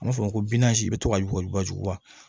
An b'a fɔ ko i bɛ to ka yuguyugu wa